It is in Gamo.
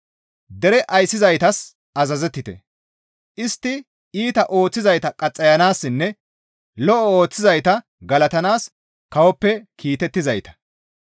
Dere ayssizaytas azazettite; istti iita ooththizayta qaxxayanaassinne lo7o ooththizayta galatanaas Kawoppe kiitettizayta.